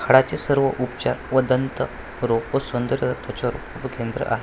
हाडाचे सर्व उपचार व दंत रोगो संदर त्वचारोग केंद्र आहे.